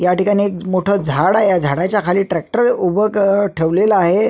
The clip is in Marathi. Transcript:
ह्या ठिकाणी एक मोठ झाड आहे ह्या झाडाच्या खाली ट्रॅक्टर उभ ठेवलेल आहे.